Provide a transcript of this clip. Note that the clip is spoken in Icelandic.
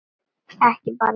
Ekki bara það.